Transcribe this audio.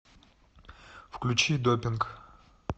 включи допинг